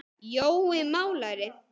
Jói málari